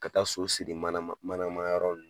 Ka taa so siri mana ma manayɔrɔ nunnu na